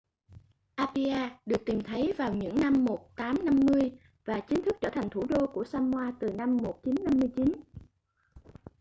apia được tìm thấy vào những năm 1850 và chính thức trở thành thủ đô của samoa từ năm 1959